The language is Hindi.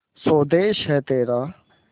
स्वदेस है तेरा